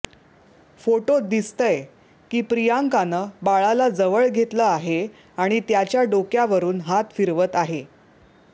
फोटोत दिसतंय की प्रियंकानं बाळाला जवळ घेतलं आहे आणि त्याच्या डोक्यावरून हात फिरवत आहे